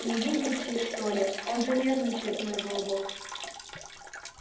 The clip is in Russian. не видите что ли он же нервничает мой голубок